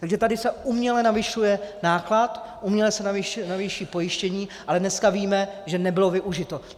Takže tady se uměle navyšuje náklad, uměle se navýší pojištění, ale dneska víme, že nebylo využito.